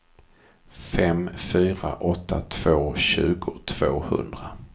fem fyra åtta två tjugo tvåhundra